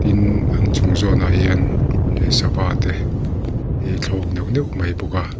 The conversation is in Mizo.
tin an chung zawnah hian leh sava te hi a thlawk neuh neuh mai bawk a.